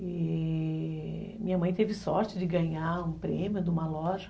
E... minha mãe teve sorte de ganhar um prêmio de uma loja.